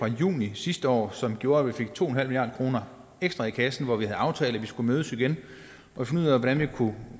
juni sidste år som gjorde at vi fik to en halv milliard kroner ekstra i kassen og vi aftalte at vi skulle mødes igen og finde ud af hvordan vi kunne